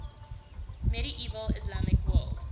medieval islamic world